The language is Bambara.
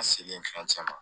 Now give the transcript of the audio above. An selen fɛn caman ma